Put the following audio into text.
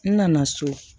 N nana so